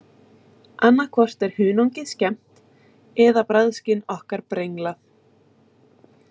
Annað hvort er hunangið skemmt eða bragðskyn okkar brenglað.